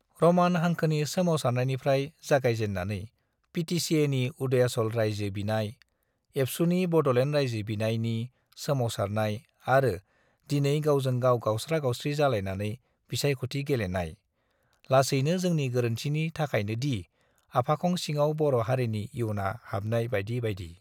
र'मान हांखोनि सोमावसारनायनिफ्राइ जागायजेन्नानै पिटिचिएनि उदयाचल राइजो बिनाय, एबसुनि बड'लेण्ड राइजो बिनायनि सोमावसारनाय आरो दिनै गावजों गाव गावस्रा-गावस्रि जालायनानै बिसायख'थि गेलेनाय, लासैनो जोंनि गोरोन्थिनि थाखायनो डि आफाखं सिङाव बर' हारिनि इयुना हाब नाय बाइदि बाइदि।